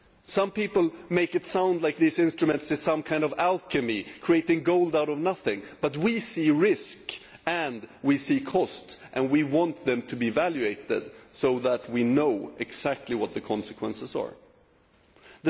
Some people make it sound like these instruments are some kind of alchemy that create gold out of nothing, but we see risk and we see costs, and we want them to be evaluated so that we know exactly what consequences they will have.